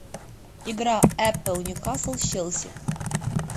игра апл ньюкасл челси